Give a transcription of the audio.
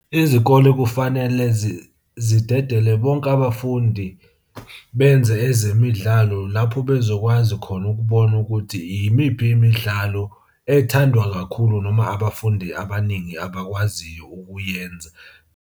Izikole kufanele zidedele bonke abafundi benze ezemidlalo lapho bezokwazi khona ukubona ukuthi yimiphi imidlalo ethandwa kakhulu, noma abafundi abaningi abakwaziyo ukuyenza.